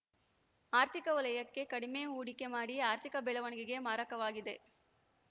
ಆರ್ಥಿಕ ವಲಯಕ್ಕೆ ಕಡಿಮೆ ಹೂಡಿಕೆ ಮಾಡಿ ಆರ್ಥಿಕ ಬೆಳವಣಿಗೆಗೆ ಮಾರಕವಾಗಿದೆ